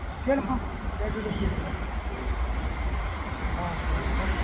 கேளும்மா கேட்டுட்டு சொல்லுங்க ஆஹ்